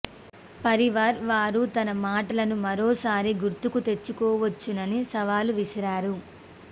పరివార్ వారు తన మాటలను మరోసారి గుర్తుకు తెచ్చుకోవచ్చునని సవాలు విసిరారు